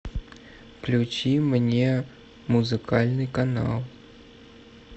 включи мне музыкальный канал